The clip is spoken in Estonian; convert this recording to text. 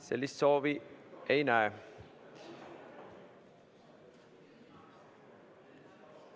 Sellist soovi ma ei näe.